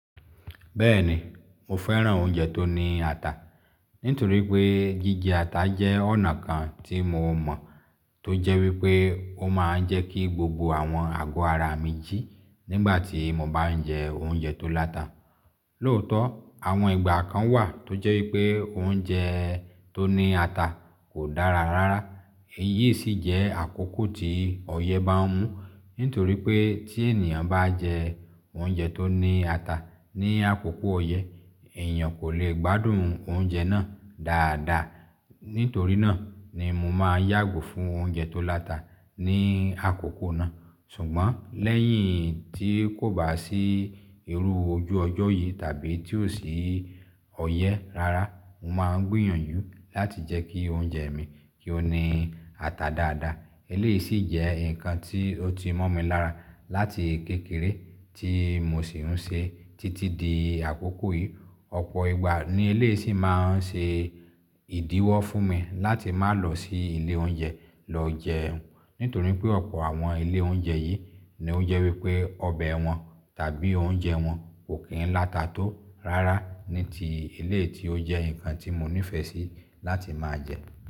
Bẹ́ẹ̀ni, mo fẹ́ràn oúnjẹ tó ní ata. Nítorí pé jíjẹ ata jẹ́ ọ̀nà kan tí mo mọ̀ tó jẹ́ wípé ó máa ń jẹ́ kí gbogbo àwọn àgọ́ ara mi jí nígbàtí mo bá ń jẹ oúnjẹ tó láta. Lóòótọ́, àwọn ìgbà kan wà tó jẹ́ wípé oúnjẹ tó ní ata kò dára rárá. Èyí sì jẹ́ àkókò tí ọyẹ́ bá ń mú. Nítorí pé tí ènìyàn bá jẹ oúnjẹ tó ní ata ní àkókò ọyẹ́, èèyàn kò le gbádùn oúnjẹ náà dáadáa. Nítorínà ni mo máa yàgò fún oúnjẹ tó láta ní àkókò náà. Ṣùgbọ́n lẹ́yìn tí kò bá sí irú ojú ọjọ́ yìí tàbí tí ò sí ọyẹ́ rárá, mo máa ń gbìyànjú láti jẹ́ kí oúnjẹ mi kí ó ní ata dáadáa. Eléyìí sì jẹ́ nǹkan tí ó ti mọ́ mi lára láti kékeré tí mo sì ń ṣe títí di àkókò yìí. Ọ̀pọ̀ ìgbà ni eléyìí sì máa ń ṣe ìdíwọ́ fún mi láti má lọ sí ilé oúnjẹ lọ jẹun. Nítorí pé ọ̀pọ̀ àwọn ilé oúnjẹ yìí ni ó jẹ́ wípé ọbẹ̀ wọn tàbí oúnjẹ wọn kò kí ń láta tó rárá ní ti eléyìí tí ó jẹ́ nǹkan tí mo nífẹ̀ẹ́ sí láti máa jẹ.